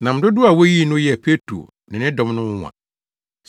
Nam dodow a woyii no yɛɛ Petro ne ne ne dɔm no nwonwa.